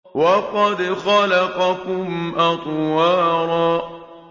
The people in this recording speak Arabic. وَقَدْ خَلَقَكُمْ أَطْوَارًا